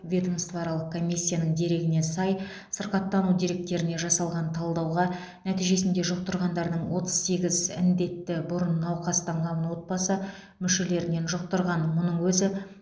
ведомствоаралық комиссияның дерегіне сай сырқаттану деректеріне жасалған талдауға нәтижесінде жұқтырғандардың отыз сегіз індетті бұрын науқастанған отбасы мүшелерінен жұқтырған мұның өзі